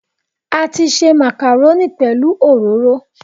A ti se màkàrónì pẹ̀lú òróró